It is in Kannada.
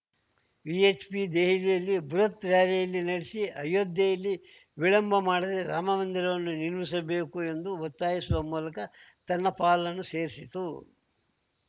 ವಿಎಚ್‌ಪಿ ದೆಹಲಿಯಲ್ಲಿ ಬೃಹತ್‌ ರಾರ‍ಯಲಿ ನಡೆಸಿ ಅಯೋಧ್ಯೆಯಲ್ಲಿ ವಿಳಂಬ ಮಾಡದೆ ರಾಮ ಮಂದಿರವನ್ನು ನಿರ್ಮಿಸಬೇಕು ಎಂದು ಒತ್ತಾಯಿಸುವ ಮೂಲಕ ತನ್ನ ಪಾಲನ್ನೂ ಸೇರಿಸಿತು